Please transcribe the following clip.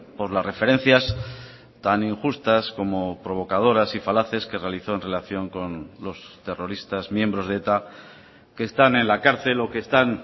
por las referencias tan injustas como provocadoras y falaces que realizó en relación con los terroristas miembros de eta que están en la cárcel o que están